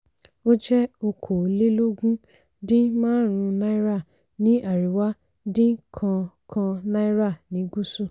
ó jẹ́ okòólélógún dín márùn-ún náírà ní àríwá dín kan kan náírà ní gúsù.